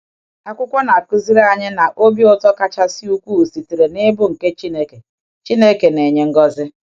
Akwụkwọ na-akụziri anyị na um obi ụtọ kachasị ukwuu sitere n’ịbụ nke Chineke um Chineke um na-enye ngọzi. um